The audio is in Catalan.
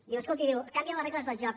diu escolti canvien les regles del joc